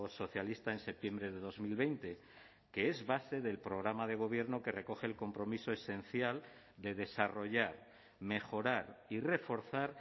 socialista en septiembre de dos mil veinte que es base del programa de gobierno que recoge el compromiso esencial de desarrollar mejorar y reforzar